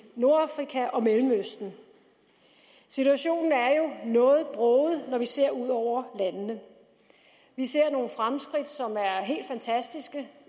nordafrika og mellemøsten situationen er jo noget broget når vi ser ud over landene vi ser nogle fremskridt som er helt fantastiske